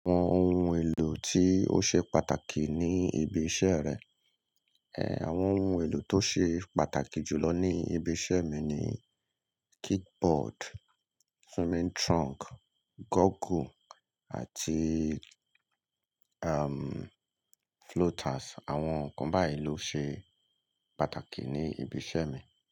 Àwọn ohun èlò tí ó ṣe pàtàkì ní ibi iṣẹ́ rẹ. È, àwọn ohun èlò tó ṣe pàtàkì jù lọ ní ibi iṣẹ́ mi ni kick board, swimming trunk, goggle àti, um, floaters. Àwọn nǹkan bái ló ṣe pàtàkì ní ibi iṣẹ́ mi.